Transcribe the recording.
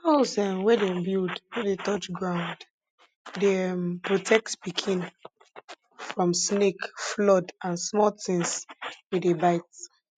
haus um wey dem build no dey touch ground dey um protect pikin from snake flood an small tins wey dey bite